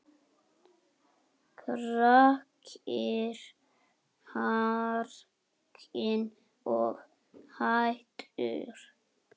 Kristur hrakinn og hæddur.